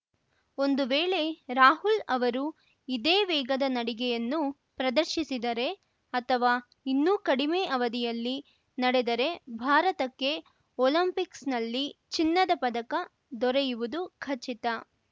ಒಂದು ವೇಳೆ ರಾಹುಲ್‌ ಅವರು ಇದೇ ವೇಗದ ನಡಿಗೆಯನ್ನು ಪ್ರದರ್ಶಿಸಿದರೆ ಅಥವಾ ಇನ್ನೂ ಕಡಿಮೆ ಅವಧಿಯಲ್ಲಿ ನಡೆದರೆ ಭಾರತಕ್ಕೆ ಒಲಿಂಪಿಕ್ಸ್‌ನಲ್ಲಿ ಚಿನ್ನದ ಪದಕ ದೊರೆಯುವುದು ಖಚಿತ